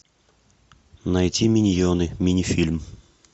найти миньоны мини фильм